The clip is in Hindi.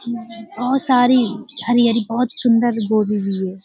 बहोत सारी हरी-हरी बहोत सुन्दर गोभी भी है।